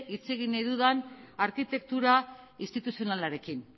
hitz egin nahi dudan arkitektura instituzionalarekin